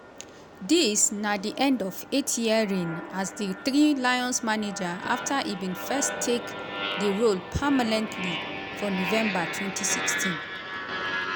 dis na di end of eight year reign as di three lions manager afta e bin first take di role permanently for november twenty sixteen.